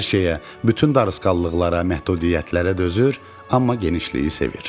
Hər şeyə, bütün darısqallıqlara, məhdudiyyətlərə dözür, amma genişliyi sevir.